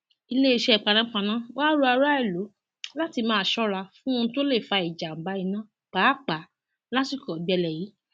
iléeṣẹ panápaná wàá rọ aráàlú láti máa ṣọra fún ohun tó lè fa ìjàmbá iná pàápàá lásìkò ọgbẹlẹ yìí